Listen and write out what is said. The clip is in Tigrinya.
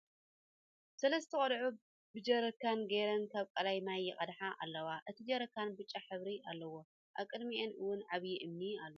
ሰለስተ ቆልዑ ብ ጀሪካን ገይረን ካብ ቃላይ ማይ ይቀድሓ ኣለዋ ። እቲ ጀሪካን ቢጫ ሕብሪ ኣለዎ ። ኣብ ቅድሚኣን እውን ዕብዪ እምኒ ኣሎ ።